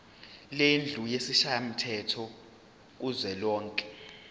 lendlu yesishayamthetho kuzwelonke